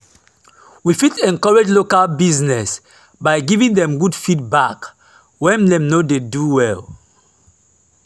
we fit encourage local business by giving dem good feedback when dem no dey do well